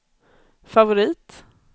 favorit